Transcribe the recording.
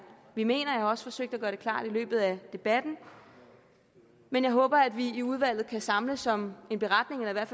vi mener jeg har også forsøgt at gøre det klart i løbet af debatten men jeg håber at vi i udvalget kan samles om en beretning eller at